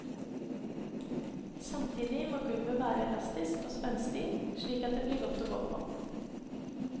Samtidig må gulvet være elastisk og spenstig, slik at det blir godt å gå på.